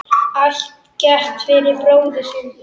Allt gert fyrir bróðir sinn.